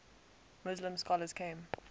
muslim scholars came